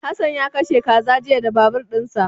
Hassan ya kashe kaza jiya da babur dinsa.